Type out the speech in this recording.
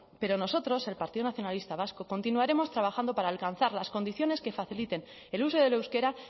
pero nosotros el partido nacionalista vasco continuaremos trabajando para alcanzar las condiciones que faciliten el uso del euskera